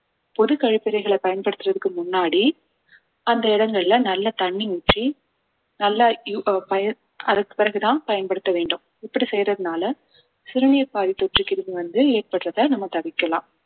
பொது கழிப்பிறைகளை பயன்படுத்துறதுக்கு முன்னாடி அந்த இடங்கள்ல நல்லா தண்ணி ஊற்றி நல்லா ஆஹ் அதற்கு பிறகுதான் பயன்படுத்த வேண்டும் இப்படி செய்யறதுனால சிறுநீர் பாதை தொற்று கிருமி வந்து ஏற்படுறதை நம்ம தவிர்க்கலாம்